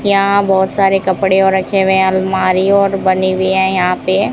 यहां बहोत सारे कपड़े और रखे हुए हैं अलमारी और बनी हुई है यहां पे--